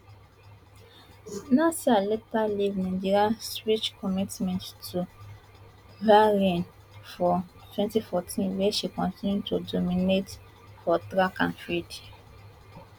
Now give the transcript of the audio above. naser later leave nigeria switch commitment to bahrain for wenty fourteen wia she continue to dominate for track and field